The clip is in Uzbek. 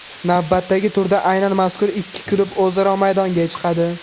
Navbatdagi turda aynan mazkur ikki klub o‘zaro maydonga chiqadi.